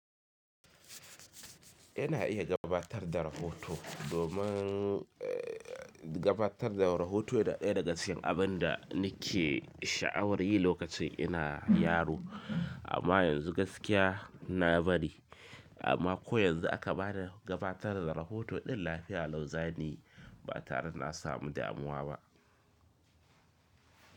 Ina iya gabatar da rahoto domin eh gabatar da rahoto yana ɗaya daga cikin abin da nake sha'awar yi lokacin ina yaro amma yanzu gaskiya na bari amma ko yanzu aka bani gabatar da rohoto din lafiya Lau zani yi ba tare da na samu damuwa ba.